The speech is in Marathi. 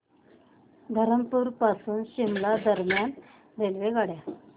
धरमपुर पासून शिमला दरम्यान रेल्वेगाड्या